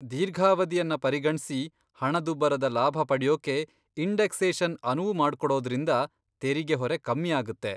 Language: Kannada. ದೀರ್ಘಾವಧಿಯನ್ನ ಪರಿಗಣ್ಸಿ ಹಣದುಬ್ಬರದ ಲಾಭ ಪಡ್ಯೋಕೆ ಇನ್ಡೆಕ್ಸೇಷನ್ ಅನುವು ಮಾಡ್ಕೊಡೋದ್ರಿಂದ ತೆರಿಗೆ ಹೊರೆ ಕಮ್ಮಿ ಆಗತ್ತೆ.